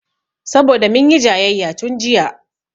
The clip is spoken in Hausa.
Saboda munyi jayayya tun jiya